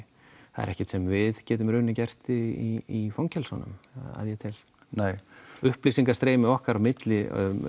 það er ekkert sem við getum í rauninni gert í fangelsunum að ég tel nei upplýsingastreymið okkar á milli